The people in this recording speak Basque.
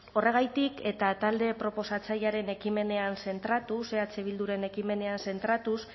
horregatik eta talde proposatzailearen ekimenean zentratuz eh bilduren ekimenean zentratuz